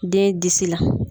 Den disi la.